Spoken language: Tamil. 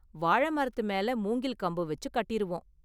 வாழை மரத்து மேல மூங்கில் கம்பு வெச்சு கட்டிருவோம்.